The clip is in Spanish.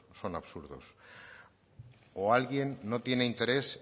son absurdos o alguien no tiene interés